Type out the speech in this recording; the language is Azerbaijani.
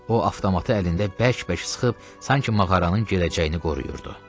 O avtomatı əlində bərk-bərk sıxıb, sanki mağaranın gələcəyini qoruyurdu.